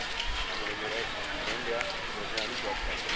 ਆਹ ਹੁਣ ਮੇਰਾ ਇੱਕ friend ਆ ਮੇਰਾ ਨਾਲ ਹੀ job ਕਰਦਾ ਹੈ